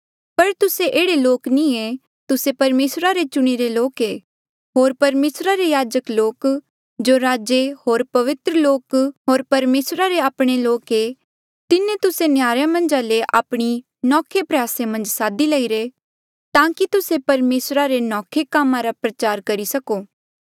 पर तुस्से एह्ड़े लोक नी ऐें तुस्से परमेसरा रे चुणिरे लोक ऐें होर परमेसरा रे याजक लोक जो राजे होर पवित्र लोक होर परमेसरा रे आपणे लोक ऐे तिन्हें तुस्से नहयारे मन्झा ले आपणी नौखे प्रयासे मन्झ सादी लईरे ताकि तुस्से परमेसरा रे नौखे कामा रा प्रचार करी सको